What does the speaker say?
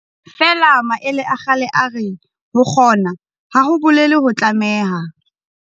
Feela maele a kgale a re, ho kgona, ha ho bolele ho tlameha.